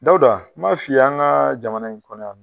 Dawuda n m'a f'i ye an ŋaa jamana in kɔnɔ yan nɔ